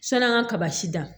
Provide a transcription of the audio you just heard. San'an ka kaba si dan